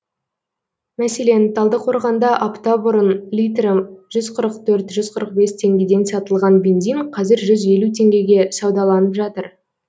мәселен талдықорғанда апта бұрын литрі жүз қырық төрт жүз қырық бес теңгеден сатылған бензин қазір жүз елу теңгеге саудаланып жатыр